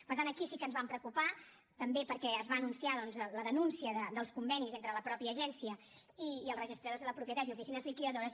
per tant aquí sí que ens vam preocupar també perquè es va anunciar doncs la denúncia dels convenis entre la mateixa agència i els registradors de la propietat i oficines liquidadores